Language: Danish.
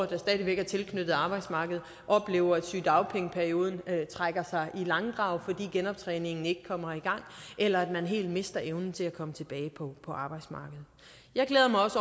der stadig væk er tilknyttet arbejdsmarkedet oplever at sygedagpengeperioden trækker i langdrag fordi genoptræningen ikke kommer i gang eller at man helt mister evnen til at komme tilbage på arbejdsmarkedet jeg glæder mig også